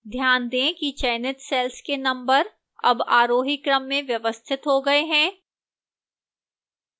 ध्यान दें कि चयनित cells के numbers अब आरोही क्रम में व्यवस्थित हो गए हैं